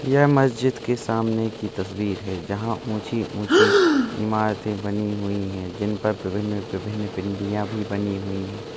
यह मस्जिद की सामने की तस्वीर है जहां ऊंची - ऊंची इमारतें बनी हुई हैं जिनपर विभिन्न -विभिन्न पिंडियां भी बनी हुई है।